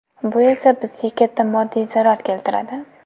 Bu esa bizga katta moddiy zarar keltiradi.